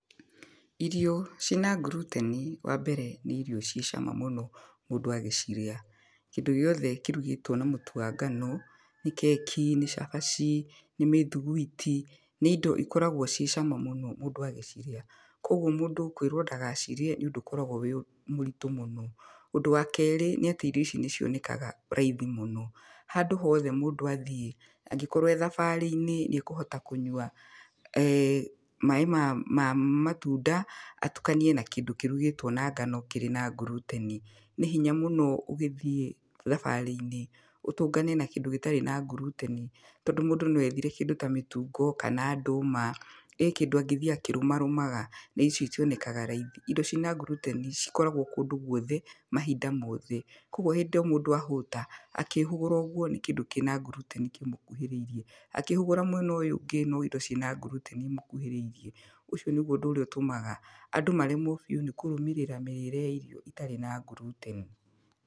Irio ciĩna nguruteni wa mbere nĩ irio ciĩ cama mũno mũndũ agĩcirĩa. Kĩndũ gĩothe kĩrugĩtwo na mũtu wa ngano, nĩ keki, nĩ cabaci, nĩ mĩthuguiti, nĩ indo ikoragwo ciĩ cama mũno mũndũ agĩcirĩa, koguo mũndũ kwĩrwo ndagacirĩe nĩ ũndũ ũkoragwo wĩ mũritũ mũno. Ũndũ wa kerĩ nĩ atĩ irio ici nĩ cionekaga raithi mũno. Handũ hothe mũndũ athiĩ, angĩkorwo ee thabarĩ-inĩ nĩekũhota kũnyua maaĩ ma, ma, matunda atukanie na kĩndũ kĩrugĩtwo na ngano kĩrĩ na nguruteni. Nĩ hinya mũno ũgĩthiĩ thabarĩ-inĩ ũtũngane na kĩndũ gĩtarĩ na nguruteni, tondũ mũndũ no ethire kĩndũ ta mĩtungo kana ndũma, ĩ kĩndũ angĩthiĩ akĩrũmarũmaga na icio itionekaga raithi. Indo ciina nguruteni cikoragwo kũndũ gwothe mahinda mothe. Koguo hĩndĩ o mũndũ ahũta, akĩhũgũra ũgwo nĩ kĩndũ kĩna nguruteni kĩmũkuhĩrĩirie, akĩhũgũra mwena ũyũ ũngĩ no indo cina nguruteni imũkuhĩrĩirie. Ũcio nĩgwo ũndũ ũrĩa ũtũmaga andũ maremwo biũ nĩ kũrũmĩrĩra mĩrĩre ya irio itarĩ na nguruteni.